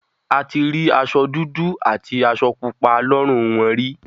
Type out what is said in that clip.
A ti rí aṣọ dúdú àti aṣọ pupa lọ́rùn wọn rí.